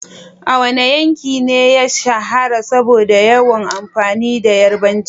Wane yanki ne ya shahara saboda yawan amfani da Yarabanci?